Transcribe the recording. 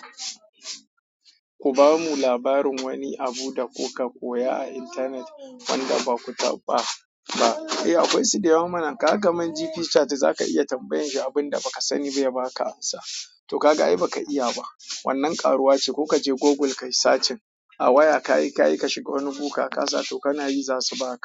Ku bamu labarin wani abu da kuka koya a intanet wanda ba ku taɓa ba. E akwai su da yawa mana. Kaga kaman GP chat za ka iya tambayanshi abin da ba ka sani ba ya ba ka amsa. To ka ga ai ba ka iya ba. Wannan karuwa ce. Ko ka je Google kayi searching a waya, kayi kayi ka shiga wani gu ka kasa, to kana yi za su ba ka.